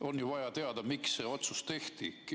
On ju vaja teada, miks see otsus tehti.